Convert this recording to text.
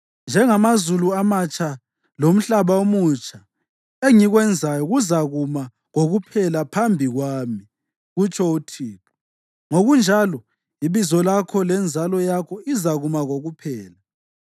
“Njengamazulu amatsha lomhlaba omutsha engikwenzayo kuzakuma kokuphela phambi kwami,” kutsho uThixo, “ngokunjalo ibizo lakho lenzalo yakho izakuma kokuphela.